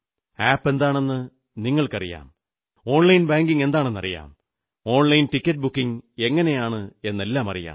app എന്താണെന്നു നിങ്ങൾക്കറിയാം online banking എന്തെന്നറിയാം ഓൺലൈൻ ടിക്കറ്റ് ബുക്കിംഗ് എങ്ങനെയാണ് എന്നെല്ലാമറിയാം